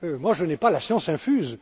Je n'ai pas la science infuse